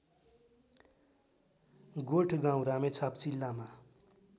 गोठगाउँ रामेछाप जिल्लामा